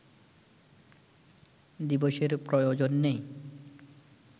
দিবসের প্রয়োজন নেই